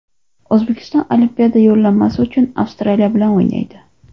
O‘zbekiston Olimpiada yo‘llanmasi uchun Avstraliya bilan o‘ynaydi.